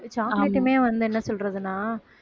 chocolate உமே வந்து என்ன சொல்றதுன்னா